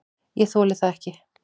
"""Ég þoli það ekki,"""